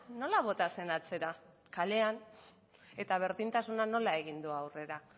nola bota zen atzera kalean eta berdintasunak nola egin du aurrera